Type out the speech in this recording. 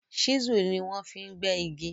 chisel ní wan fí gbé ìgi.